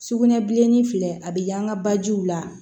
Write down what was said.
Sugunɛbilenni filɛ a bɛ yaaan ka bajiw la